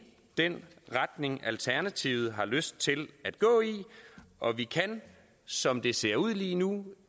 den retning alternativet har lyst til at gå i og vi kan som det ser ud lige nu